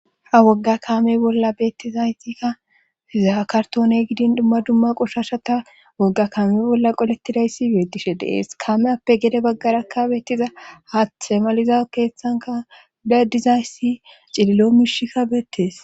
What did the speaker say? ha wogga kaame bolla beettizaytikka hizaa kartoone gidin dumma dumma qoshashata wogga kaame bolla qolettidayssi beedishe dees kameappe gede baggara ka beettiza haaththe maliza keeththanka dadizayssi cililo miishikka beettees